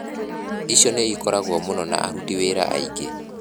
Icio nĩ ikũragwo mũno na Aruti Wĩra aingĩ.